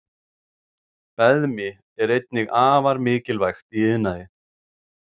Beðmi er einnig afar mikilvægt í iðnaði.